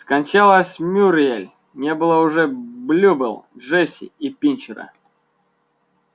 скончалась мюриель не было уже блюбелл джесси и пинчера